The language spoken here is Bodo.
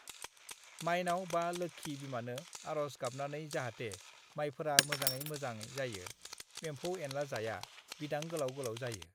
"माइनाव बा लोक्षी बिमानो आर'ज गाबनानै जाहाथे माइफोरा मोजाङै मोजाङै जायो, एम्फौ-एनला जाया, बिदां गोलाव-गोलाव जायो"